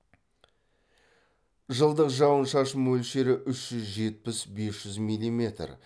жылдық жауын шашын мөлшері үш жүз жетпіс бес жүз миллиметр